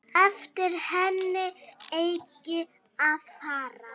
Eftir henni eigi að fara.